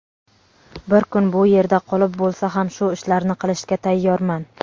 bir kun bu yerda qolib bo‘lsa ham shu ishlarni qilishga tayyorman.